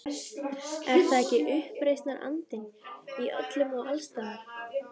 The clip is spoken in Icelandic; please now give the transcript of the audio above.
Er það ekki uppreisnarandinn- í öllum og alls staðar.